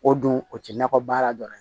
O don o tɛ nakɔ baara dɔrɔn ye